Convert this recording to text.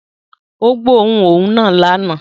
Ó gbóòórùn òun náà lánàá